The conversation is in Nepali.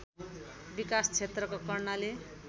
विकास क्षेत्रको कर्णाली